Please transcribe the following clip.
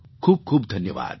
ખૂબ ખૂબ ધન્યવાદ